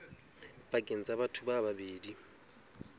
pakeng tsa batho ba babedi